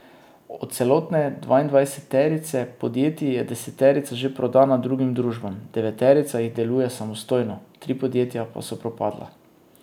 Od celotne dvaindvajseterice podjetij je deseterica že prodana drugim družbam, deveterica jih deluje samostojno, tri podjetja pa so propadla.